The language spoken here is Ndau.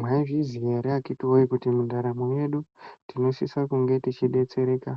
Maizviziya here akiti woye kuti mundaramo medu tinosisa kunge teibetsereka